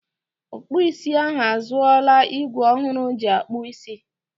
Ọkpụ isi ahụ azụọla igwe ọhụrụ o ji akpụ isi.